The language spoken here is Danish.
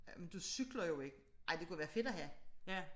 Ah men du cykler jo ikke. Ej men det kunne være fedt at have